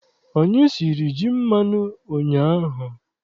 Anyị siri ji mmanụ ụnyaahụ.